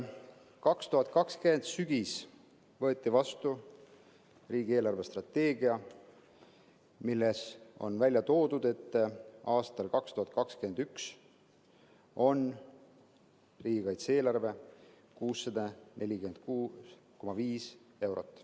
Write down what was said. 2020. aasta sügisel võeti vastu riigi eelarvestrateegia, milles on välja toodud, et aastal 2021 on riigikaitse eelarve 646,5 eurot.